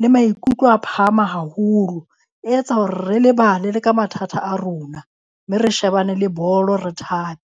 le maikutlo a phahama haholo. E etsa hore re lebale le ka mathata a rona mme re shebane le bolo re thabe.